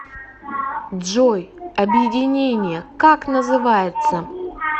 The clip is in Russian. джой объединение как называется